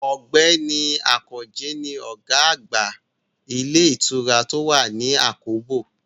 Ọ̀gbẹ́ni Àkànjí ni ọ̀gá àgbà ilé ìtura tó wà ní àkóbò